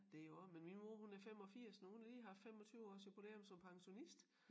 Det jo også men min mor hun er 85 nu hun har lige haft 25 års jubilæum som pensionist